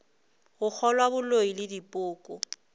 go kgolwa boloi le dipoko